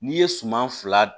N'i ye suman fila dun